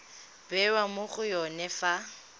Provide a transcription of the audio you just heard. bewa mo go yone fa